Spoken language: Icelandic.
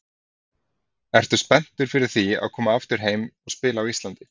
Ertu spenntur fyrir því að koma aftur heim og spila á Íslandi?